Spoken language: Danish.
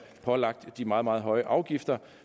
pålagt de meget meget høje afgifter